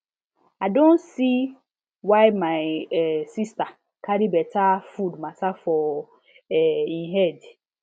i don see why my um sister carry better food matter for um head